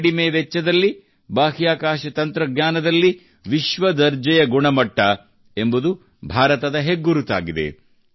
ಕಡಿಮೆ ವೆಚ್ಚದಲ್ಲಿ ಬಾಹ್ಯಾಕಾಶ ತಂತ್ರಜ್ಞಾನದಲ್ಲಿ ವಿಶ್ವ ದರ್ಜೆಯ ಗುಣಮಟ್ಟ ಎಂಬುದು ಭಾರತದ ಹೆಗ್ಗುರುತಾಗಿದೆ